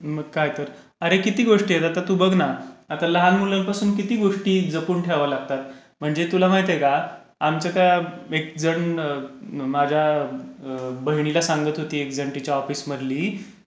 मग काय तर. अरे किती गोष्टी येतात, आता तू बघ ना, आता लहान मुलांपासून किती गोष्टी जपून ठेवाव्या लागतात, म्हणजे तुला माहिताय का आमच्या त्या एक जण माझ्या बहिणीला सांगत होती एक जण तिच्या ऑफिस मधली.